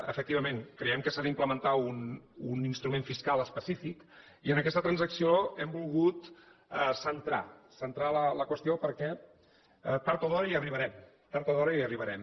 efectivament creiem que s’ha d’implementar un instrument fiscal específic i en aquesta transacció hem volgut centrar la qüestió perquè tard o d’hora hi arribarem tard o d’hora hi arribarem